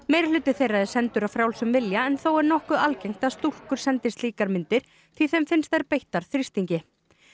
meirihluti þeirra er sendur af frjálsum vilja en þó er nokkuð algengt að stúlkur sendi slíkar myndir því þeim finnst þær beittar þrýstingi